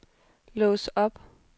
lås op